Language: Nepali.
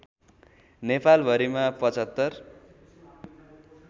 नेपाल भरिमा पचहत्तर